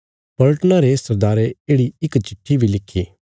पलटना रे सरदारे येढ़ि इक चिट्ठी बी लिखी